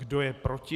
Kdo je proti?